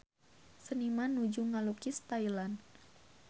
Seniman nuju ngalukis Thailand